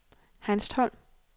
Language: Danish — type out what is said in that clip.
Hanstholm